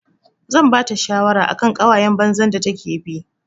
Zan bata shawara akan ƙawayan banza da take bi.